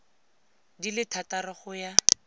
di le thataro go ya